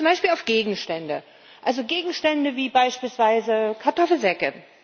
Zum Beispiel auf Gegenstände. Gegenstände wie beispielsweise Kartoffelsäcke.